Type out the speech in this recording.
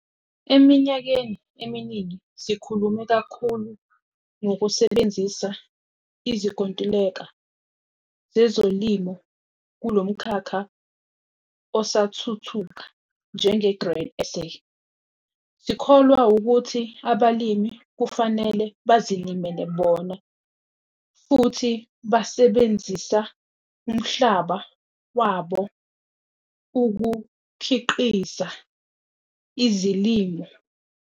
Eminyakeni eminingi sikhulume kakhulu ngokusebenzisa izinkontileka zezolimo kulo mkhakha osathuthuka. Njenge-Grain SA sikholwa ukuthi abalimi kufanele bazilimele bona futhi basebenzisa umhlaba wabo ukukhiqiza izilimo.